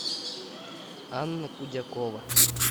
анна кудякова